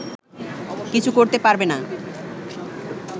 কিছু করতে পারবে না